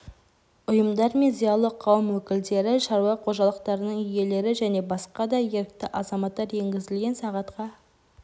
ұйымдар мен зиялы қауым өкілдері шаруа қожалықтарының иелері және басқа да ерікті азаматтар енгізілген сағатқа